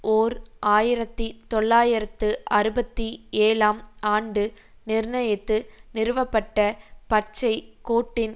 ஓர் ஆயிரத்தி தொள்ளாயிரத்து அறுபத்தி ஏழாம் ஆண்டு நிர்ணயித்து நிறுவப்பட்ட பச்சை கோட்டின்